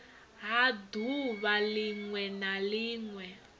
ha ḓuvha ḽiṅwe na ḽiṅwe